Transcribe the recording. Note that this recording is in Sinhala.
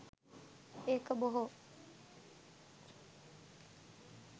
ඒක බොහෝ.